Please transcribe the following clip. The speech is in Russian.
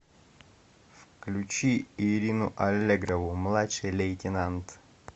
включи ирину аллегрову младший лейтенант